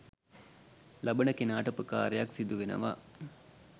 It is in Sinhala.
ලබන කෙනාට උපකාරයක් සිදුවෙනවා.